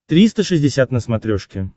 триста шестьдесят на смотрешке